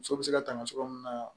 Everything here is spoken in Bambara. Muso bɛ se ka tanga cogoya min na